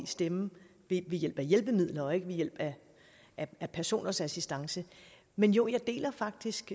stemme ved hjælp af hjælpemidler og ikke ved hjælp af personers assistance men jo jeg deler faktisk